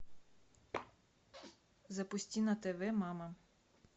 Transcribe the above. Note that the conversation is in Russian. запусти на тв мама